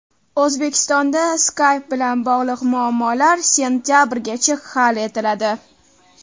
O‘zbekistonda Skype bilan bog‘liq muammolar sentabrgacha hal etiladi.